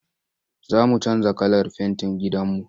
Za mu canja kalar fentin gidanmu.